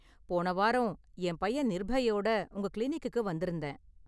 போன வாரம் என் பையன் நிர்பையோட உங்க கிளினிக்குக்கு வந்திருந்தேன்.